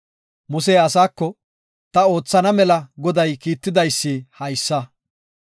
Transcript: Musey asaako, ta oothana mela Goday kiittidaysi haysa.